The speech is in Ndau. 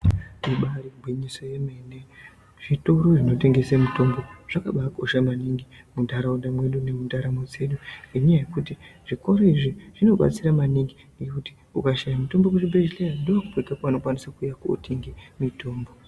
Ibari gwinyiso remene zvitoro zvinotengesa mitombo zvakabakosha maningi mundaraunda nendaramo dzedu nenyaya yekuti zvitoro izvi zvobatsira maningi ukashaya mitombo muzvibhedhlera ndomatokwanisa kutenga mitombo.